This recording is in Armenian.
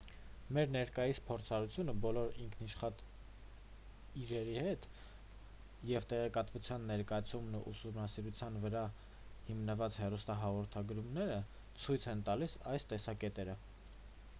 մեր ներկայիս փորձառությունը բոլոր ինքնաշխատ իրերի հետ և տեղեկատվության ներկայացումն ու ուսումնառության վրա հիմնված հեռուստահաղորդումները ցույց են տալիս այս տեսակետը